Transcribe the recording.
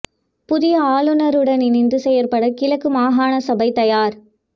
புதிய ஆளுநருடன் இணைந்து செயற்பட கிழக்கு மாகாண சபை தயார்